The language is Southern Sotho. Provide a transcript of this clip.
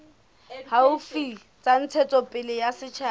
haufi tsa ntshetsopele ya setjhaba